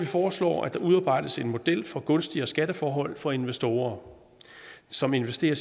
foreslår at der udarbejdes en model for gunstigere skatteforhold for investorer som investerer